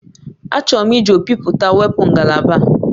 Achọrọ m iji ọkpịpụta wepụ ngalaba a